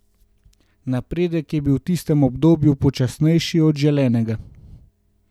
Napredek je bil v tistem obdobju počasnejši od želenega.